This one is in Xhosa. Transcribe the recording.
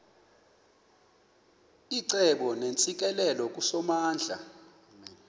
icebo neentsikelelo kusomandla